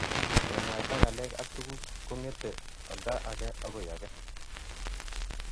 kemwaita ngalek ak tuguk kongetee olda agenge akoi age